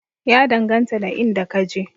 Ya danganta da inda ka je